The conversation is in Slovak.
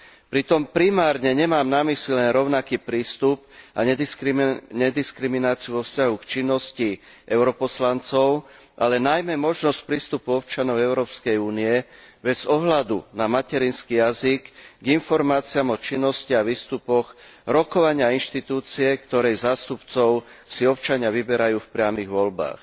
Pritom primárne nemám na mysli len rovnaký prístup a nediskrimináciu vo vzťahu k činnosti europoslancov, ale najmä možnosť prístupu občanov Európskej únie, bez ohľadu na materinský jazyk, k informáciám o činnosti a výstupoch rokovania inštitúcie, ktorej zástupcov si občania vyberajú v priamych voľbách.